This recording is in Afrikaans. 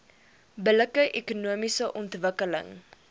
billike ekonomiese ontwikkeling